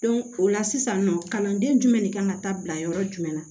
o la sisan nɔ kalanden jumɛn de kan ka taa bila yɔrɔ jumɛn na